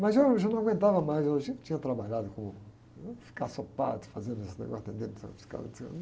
Mas eu já não aguentava mais, eu já tinha trabalhado como, não ia ficar só padre, fazendo esse negócio, atendendo o